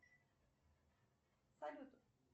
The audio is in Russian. салют